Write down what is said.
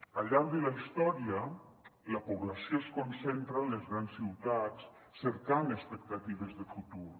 al llarg de la història la població es concentra en les grans ciutats cercant expectatives de futur